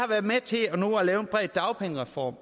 været med til at lave en bred dagpengereform